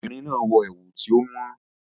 The woman is wearing an expensive lace